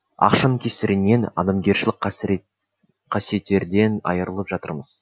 ақшаның кесірінен адамгершілік қасиеттерден айырылып жатырмыз